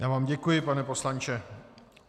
Já vám děkuji, pane poslanče.